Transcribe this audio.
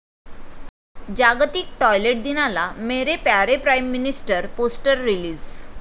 जागतिक टॉयलेट दिना'ला 'Mere Pyare prime minister' poster release